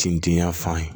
Tintinya fan ye